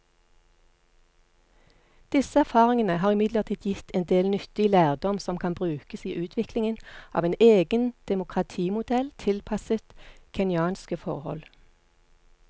Disse erfaringene har imidlertid gitt en del nyttig lærdom som kan brukes i utviklingen av en egen demokratimodell tilpasset kenyanske forhold.